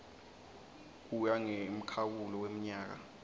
kuya ngemkhawulo wemnyaka